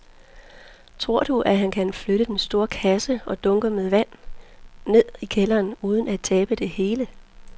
Tror du, at han kan flytte den store kasse og dunkene med vand ned i kælderen uden at tabe det hele?